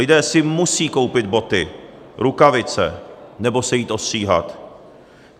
Lidé si musí koupit boty, rukavice nebo se jít ostříhat.